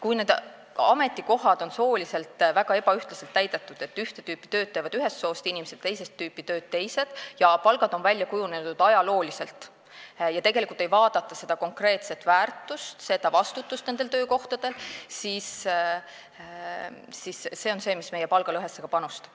Kui need ametikohad on sooliselt väga ebaühtlaselt täidetud, ühte tüüpi tööd teevad ühest soost inimesed, teist tüüpi tööd teisest soost inimesed, ja palgad on ajalooliselt välja kujunenud ega vaadata seda konkreetset väärtust, mida töökohal luuakse, seda vastutust, mis seal on, siis see panustab palgalõhesse.